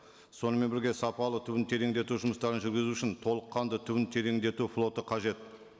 сонымен бірге сапалы түбін тереңдету жұмыстарын жүргізу үшін толыққанды түбін тереңдету флоты қажет